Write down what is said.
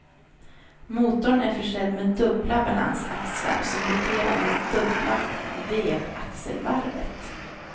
Motorn är försedd med dubbla balansaxlar, som roterar med dubbla vevaxelvarvet.